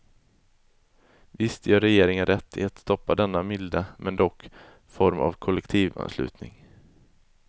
Visst gör regeringen rätt i att stoppa denna milda, men dock, form av kollektivanslutning.